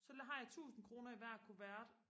så har jeg tusind kroner i hver kuvert